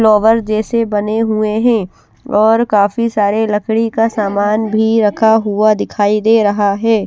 जैसे बने हुए हैं और काफी सारे लकड़ी का सामान भी रखा हुआ दिखाई दे रहा है।